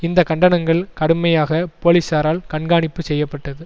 இந்த கண்டனங்கள் கடுமையாக போலீசாரால் கண்காணிப்பு செய்ய பட்டது